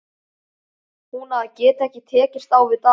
Hún að geta ekki tekist á við dagana.